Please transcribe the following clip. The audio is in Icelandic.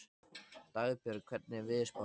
Dagbjörg, hvernig er veðurspáin?